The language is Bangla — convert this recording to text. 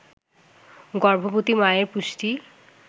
গর্ভবতী মায়ের পুষ্টি